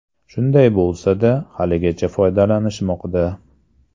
Shunday bo‘lsa-da, haligacha foydalanishmoqda.